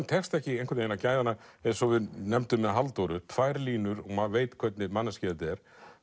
tekst ekki að gæða hana eins og við nefndum með Halldóru tvær línur og maður veit hvernig manneskja þetta er